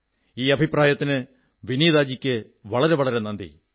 ഈ അഭിപ്രായത്തിന് വിനീതാജിക്ക് വളരെ വളരെ നന്ദി